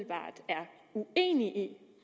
uenig i